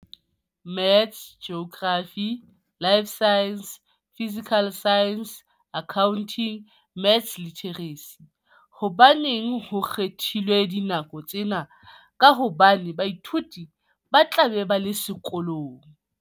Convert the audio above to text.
Maths Geography Life Sciences Physical Sciences Accounting Maths Literacy. Hobaneng ho kgethilwe dinako tsena ka hobane baithuti ba tla be ba le sekolong?